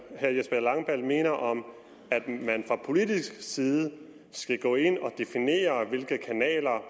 herre jesper langballe mener om at man fra politisk side skal gå ind og definere hvilke kanaler